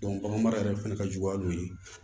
bagan mara yɛrɛ fɛnɛ ka juguya dɔ ye